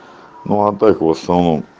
ну а так в основном